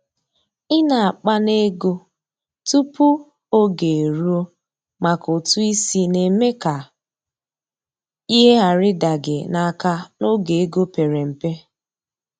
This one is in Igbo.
i na akpa n'ego tupu oge eruo maka ụtụ isi na-eme ka ihe ghara ịda gị n’aka n’oge ego pere mpe.